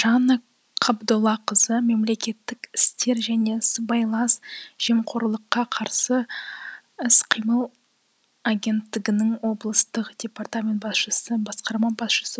жанна қабдоллақызы мемлекеттік істер және сыбайлас жемқорлыққа қарсы іс қимыл агенттігінің облыстық департамент басшысы басқарма басшысы